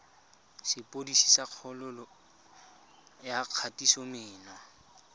sepodisi sa kgololo ya kgatisomenwa